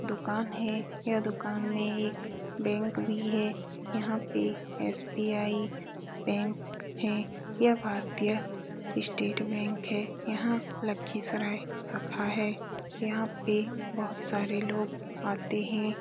दुकान है यह दुकान में एक बैंक भी है यहाँ पे एस.बी.आई. बैंक है यह भारतीय स्टेट बैंक है यहाँ लखीसराय शाखा है यहाँ पे बहुत सारे लोग आते हैं ।